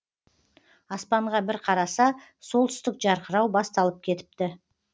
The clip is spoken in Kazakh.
аспанға бір қараса солтүстік жарқырау басталып кетіпі